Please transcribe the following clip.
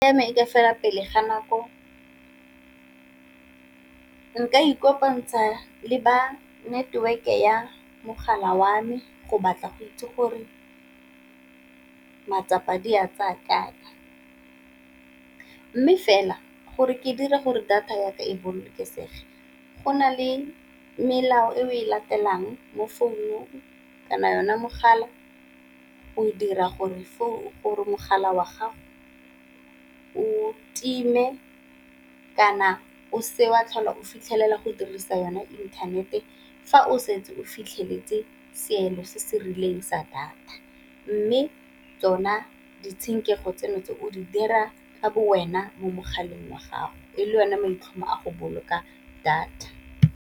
e ka fela pele ga nako nka ikopantsha le ba network-e ya mogala wa me, go batla go itse gore matsapa di a tsaya kae. Mme fela gore ke dire gore data ya ka e bolokesege go na le melao e o e latelang mo founung kana yona mogala o dira gore mogala wa gago o time, kana o seke wa tlhola o fitlhelela go dirisa yone inthanete fa o setse o fitlheletse seelo se se rileng fa data. Mme tsona ditshenkego tseno tse o di dira ka bo wena mo mogaleng wa gago e le wena maitlhomo a go boloka data.